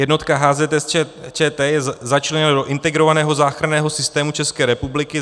Jednotka HZS ČT je začleněna do Integrovaného záchranného systému České republiky.